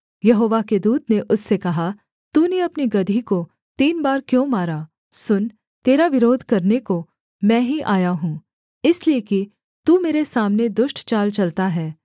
यहोवा के दूत ने उससे कहा तूने अपनी गदही को तीन बार क्यों मारा सुन तेरा विरोध करने को मैं ही आया हूँ इसलिए कि तू मेरे सामने दुष्ट चाल चलता है